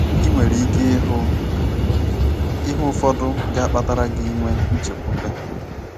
Ị nwere ike ịhụ ihe ufọdụ ga-akpatara gi inwe nchekwube.